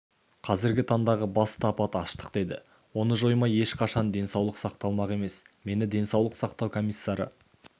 қазіргі таңдағы басты апат аштық деді оны жоймай ешқандай денсаулық сақталмақ емес мені денсаулық сақтау комиссары